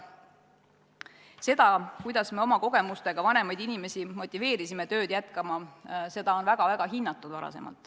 Seda, kuidas me oma kogemustega motiveerisime vanemaid inimesi tööd jätkama, on varem väga-väga hinnatud.